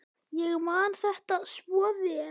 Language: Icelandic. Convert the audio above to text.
Ég man þetta svo vel.